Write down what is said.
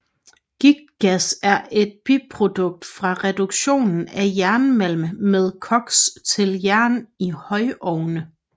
Giktgas er et biprodukt fra reduktionen af jernmalm med koks til jern i højovne